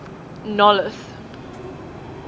nolloth